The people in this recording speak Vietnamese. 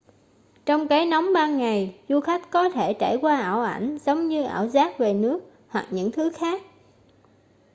trong cái nóng ban ngày du khách có thể trải qua ảo ảnh giống như ảo giác về nước hoặc những thứ khác